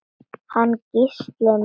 Hann Gísli minn?